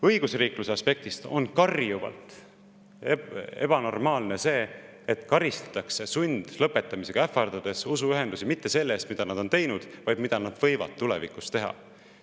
Õigusriikluse aspektist on karjuvalt ebanormaalne see, et karistatakse sundlõpetamisega, ähvardatakse usuühendusi mitte selle eest, mida nad on teinud, vaid mida nad võivad tulevikus teha.